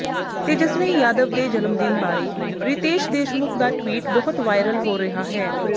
ਤੇਜਸਵੀ ਯਾਦਵ ਦੇ ਜਨਮਦਿਨ ਬਾਰੇ ਰਿਤੇਸ਼ ਦੇਸ਼ਮੁਖ ਦਾ ਟਵੀਟ ਬਹੁਤ ਵਾਇਰਲ ਹੋ ਰਿਹਾ ਹੈ